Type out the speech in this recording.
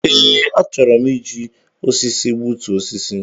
Ee, a chọrọ m iji osisi gbutu osisi.